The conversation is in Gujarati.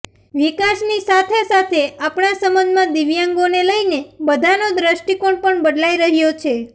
વિકાસની સાથે સાથે આપણા સમાજમાં દિવ્યાંગોને લઇને બધાનો દ્રષ્ટિકોણ પણ બદલાઇ રહ્યો છે